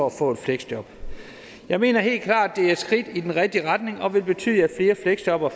at få et fleksjob jeg mener helt klart det er et skridt i den rigtige retning og vil betyde at flere fleksjobbere